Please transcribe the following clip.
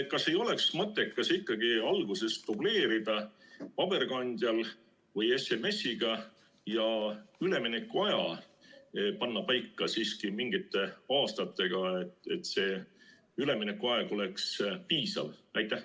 Kas ei oleks mõttekas ikkagi alguses dubleerida paberkandjal või SMS‑iga ja panna üleminekuaeg paika siiski mingite aastatega, et see üleminekuaeg oleks piisav?